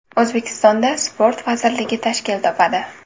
O‘zbekistonda sport vazirligi tashkil topadi.